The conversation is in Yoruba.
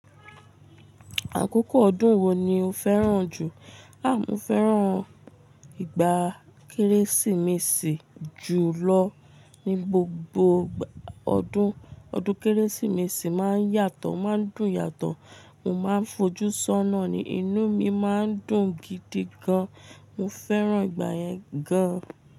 Àkókò ọdún wo ni o fẹ́ràn jù? Mo fẹ́ràn ìgbà Kérésìmesì jù lọ ní gbogbo ọdún. Ọdún Kérésìmesì máa ń yàtọ̀, máa ń dùn yàtọ̀. Mo máa ń fojú sọ́nà ni, inú mi máa ń dùn gidi gan. Mo fẹ́ràn ìgbà yẹn gan.